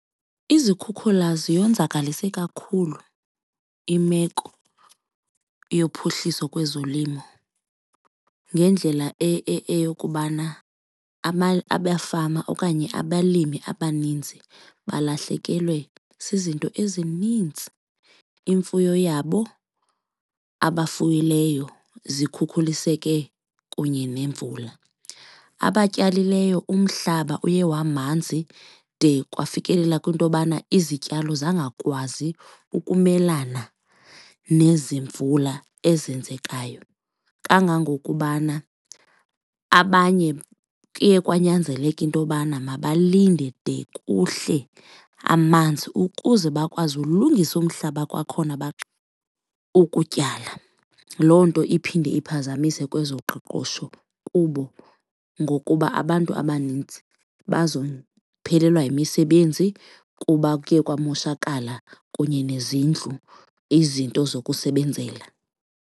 Izikhukhula ziyonzakalise kakhulu imeko yophuhliso kwezolimo ngendlela eyokubana abafama okanye abalimi abaninzi balahlekelwe zizinto ezininzi, imfuyo yabo abafuyileyo zikhukhuliseke kunye nemvula, abayityalileyo umhlaba uye wamanzi de kwafikelela kwintobana izityalo zangakwazi ukumelana nezi mvula ezenzekayo. Kangangokubana abanye kuye kwanyanzeleka intobana mabalinde de kuhle amanzi ukuze bakwazi ulungisa umhlaba kwakhona ukutyala. Loo nto iphinde iphazamise kwezoqoqosho kubo ngokuba abantu abanintsi bazophelelwa yimisebenzi kuba kuye kwamoshakala kunye nezindlu, izinto zokusebenzela.